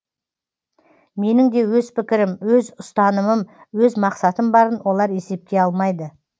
менің де өз пікірім өз ұстанымым өз мақсатым барын олар есепке алмайды